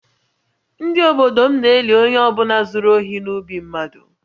Ndị obodo m na-eli onye ọ bụla zuru ohi n’ubi mmadụ